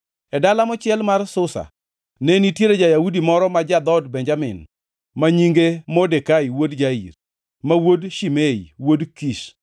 E dala mochiel mar Susa ne nitie ja-Yahudi moro ma ja-dhood Benjamin ma nyinge Modekai wuod Jair, ma wuod Shimei, wuod Kish,